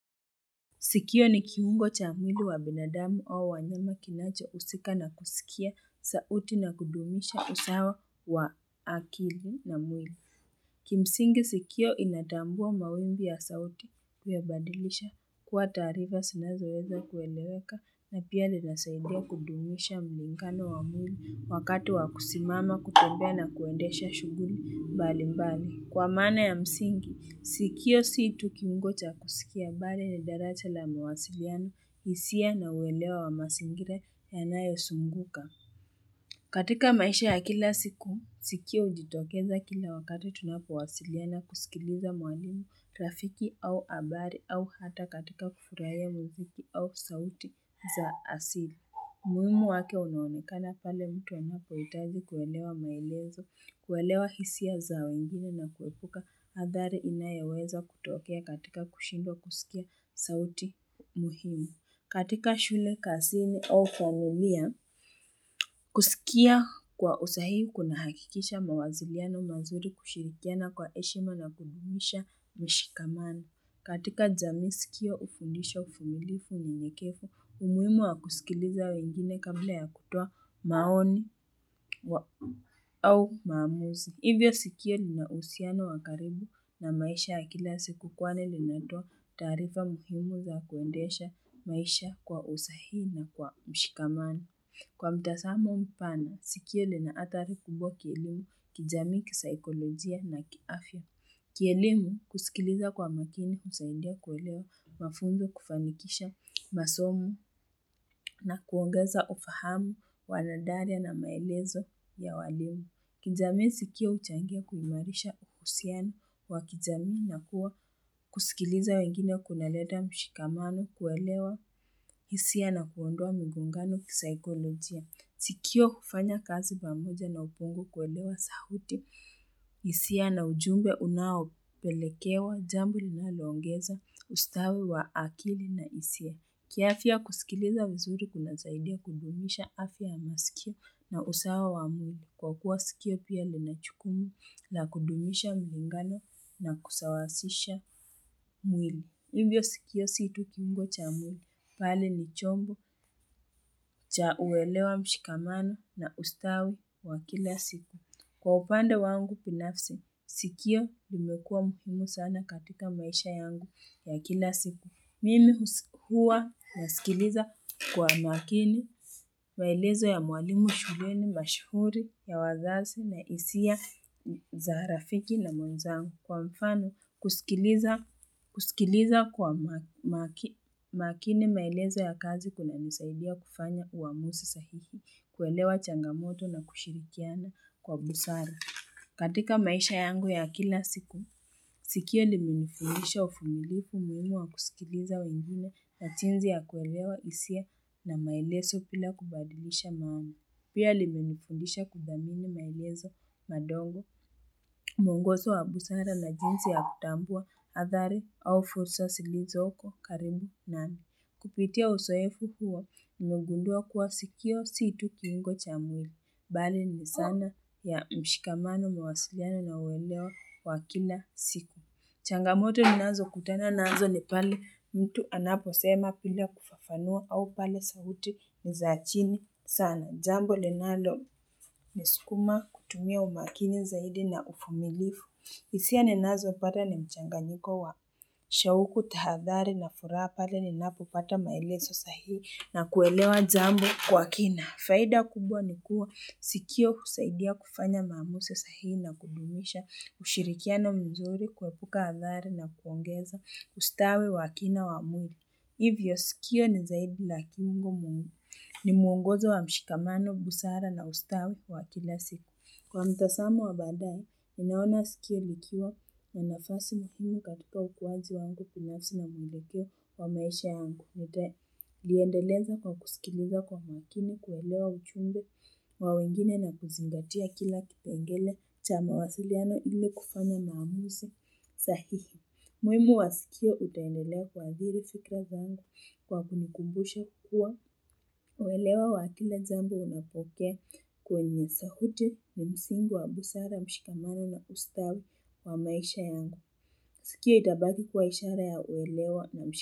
Sikio ni kiungo cha mwili wa binadamu au wanyama kinacho husika na kuskia sauti na kudumisha usawa wa akili na mwili. Kimsingi skio inatambua mawimbi ya sauti kuyabadilisha kuwa taarifa zinazoweza kueleweka na pia linasaidia kudumisha muungano wa mwili wakati wa kusimama kutembea na kuendesha shughuli bali bali. Kwa maana ya msingi, skio si tu kiungo cha skia bali ni daracha la mawasiliano hisia na uelewa wa mazingira yanayo zunguka. Katika maisha ya kila siku, skio hujitokeza kila wakati tunapowasiliana kuskiliza mwalimu rafiki au habari au hata katika kufurahia muziki au sauti za asili. Umuhimu wake unaonekana pale mtu anapohitaji kuelewa maelezo, kuelewa hisia za wengine na kuepuka hadhari inayoweza kutokea katika kushindwa kuskia sauti muhimu. Katika shule kazini au kwa faimilia, kuskia kwa usahihi kuna hakikisha mawasiliano mazuri kushirikiana kwa heshima na kudumisha mshikamano. Katika jami skio ufundisha uvumilifu ni unyenyekevu, umuhimu wa kuskiliza wengine kabla ya kutoa maoni wa au maamuzi. Hivyo skio linauhusiano wa karibu na maisha ya kila siku kwani linatoa taarifa muhimu za kuendesha maisha kwa usahihi na kwa mshikamano. Kwa mtazamo mpana, skio linaathari kubwa kielimu kijami kisaikolojia na kiafya. Kielimu kuskiliza kwa makini husaidia kuelewa mafunzo kufanikisha masomo na kuongeza ufahamu wanadaria na maelezo ya walimu. Kijamii skio huchangia kuimarisha uhusiano wa kijamii na kuwa kuskiliza wengine kunaleta mshikamano kuelewa hisia na kuondoa migongano kisaikolojia. Skio hufanya kazi pamoja na upungu kuelewa sauti, hisia na ujumbe unaopelekewa, jambo linaloongeza, ustawi wa akili na hisia. Kiafya kuskiliza vizuri kunasaidia kudumisha afya masikio na usawa wa mwili. Kwa kuwa skio pia linajukumu na kudumisha muungano na kusawasisha mwili. Mbio skio si tu kiungo cha mwili, bali ni chombo cha uwelewa mshikamano na ustawi wa kila siku. Kwa upande wangu binafsi, skio limekua muhimu sana katika maisha yangu ya kila siku. Mimi huwa na skiliza kwa makini, maelezo ya mwalimu shuleni mashauri ya wazazi na hisia za rafiki na mwenzangu. Kwa mfano, kuskiliza kwa makini maelezo ya kazi kunanisaidia kufanya uamuzi sahihi, kuelewa changamoto na kushirikiana kwa busara. Katika maisha yangu ya kila siku, skio limenifundisha uvumilivu umuhimu wa kuskiliza wengine na jinsi ya kuelewa hisia na maelezo bila kubadilisha mambo. Pia limenifundisha kuthamini maelezo madogo, muongozo wa busara na jinsi ya kutambua, athari au fursa zilizoko, karibu nami. Kupitia uzoefu huwo, nimegundua kuwa skio si tu kiungo cha mwili. Bali ni sana ya mshikamano mawasiliano na uelewa wa kila siku. Changamoto ninazokutana nazo ni pale mtu anaposema bila kufafanua au pale sauti ni za chini sana. Jambo linaloniskuma kutumia umakini zaidi na uvumilivu. Hisia ninazopata ni mchanganyiko wa shauku tahadhari na furaha pale ninapopata maelezo sahihi na kuelewa jambo kwa kina. Faida kubwa ni kuwa skio husaidia kufanya maamuzi sahihi na kudumisha ushirikiano mzuri kuepuka athari na kuongeza ustawi wa kina wa mungu. Hivyo skio ni zaidi na kiungo mungu. Ni mwongozo wa mshikamano, busara na ustawi wa kila siku. Kwa mtazamo wa baadae, nimeona skio likiwa na nafasi muhimu katika ukuaji wangu binafsi na mwelekeo wa maisha yangu. Nitaliendeleza kwa kuskiliza kwa makini kuelewa ujumbe wa wengine na kuzingatia kila kipengele cha mawasiliano ile kufanya maamuzi. Sahihi, muhimu wa skio utaendelea kuathiri fikra zangu kwa kunikumbusha kuwa uelewa wa kila jambo unapokea kwenye sauti ni msingi wa busara mshikamano na ustawi wa maisha yangu. Skio itabaki kuwa ishara ya uwelewa na mshikamano.